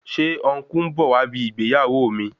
Ṣé ọn̄kú ń bọ̀ wá ibi ìgbéyàwó mi?